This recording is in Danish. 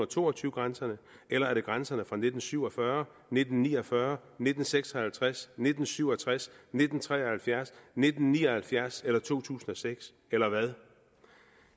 to og tyve grænserne eller er det grænserne fra nitten syv og fyrre nitten ni og fyrre nitten seks og halvtreds nitten syv og tres nitten tre og halvfjerds nitten ni og halvfjerds eller to tusind og seks eller hvad